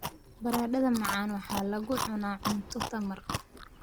Baradhada macaan waxaa lagu cunaa cunto tamar.